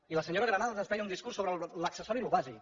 i la senyora granados ens feia un discurs sobre l’accessori i el bàsic